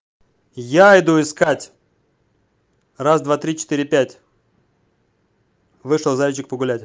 я иду искать раз два три четыре пять вышел зайчик погулять